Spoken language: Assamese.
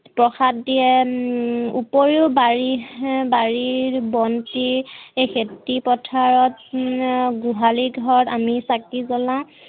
প্ৰসাদ দিয়ে। হম উপৰিও বাৰীৰ বন্তি খেতি পথাৰত হম গোহালি ঘৰত আমি চাকি জলাও